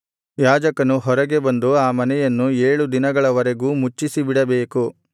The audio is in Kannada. ಯಾಜಕನು ಹೊರಗೆ ಬಂದು ಆ ಮನೆಯನ್ನು ಏಳು ದಿನಗಳವರೆಗೂ ಮುಚ್ಚಿಸಿಬಿಡಬೇಕು